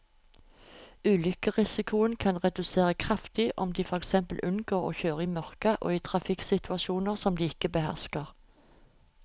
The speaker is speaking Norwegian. Ulykkesrisikoen kan reduseres kraftig om de for eksempel unngår å kjøre i mørket og i trafikksituasjoner som de ikke behersker.